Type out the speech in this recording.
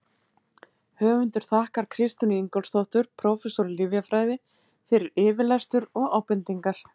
Höfundur þakkar Kristínu Ingólfsdóttur, prófessor í lyfjafræði, fyrir yfirlestur og ábendingar.